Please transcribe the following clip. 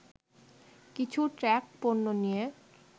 কিছু ট্রাক পণ্য নিয়ে